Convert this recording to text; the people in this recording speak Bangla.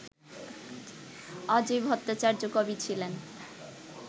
অজয় ভট্টাচার্য কবি ছিলেন